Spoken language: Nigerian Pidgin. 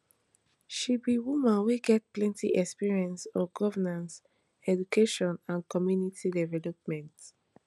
she be woman wey get plenty experience on governance education and community development